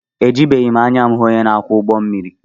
Ejibeghị m anya m hụ onye na-akwọ ụgbọmmiri